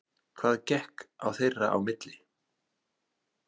Hvað gekk á þeirra á milli?